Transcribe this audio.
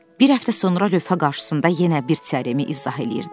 Bir həftə sonra lövhə qarşısında yenə bir teoremi izah eləyirdi.